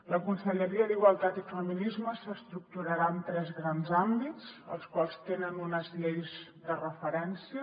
la conselleria d’igualtat i feminismes s’estructurarà en tres grans àmbits els quals tenen unes lleis de referència